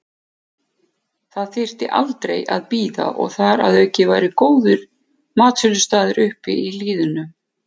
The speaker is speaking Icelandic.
Það þyrfti aldrei að bíða og þar að auki væru góðir matsölustaðir uppi í hlíðunum.